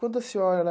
Quando a senhora...